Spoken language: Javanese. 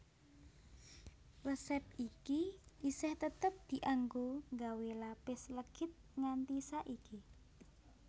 Resép iki isih tetep dianggo nggawé lapis legit nganti saiki